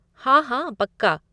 हाँ, हाँ, पक्का।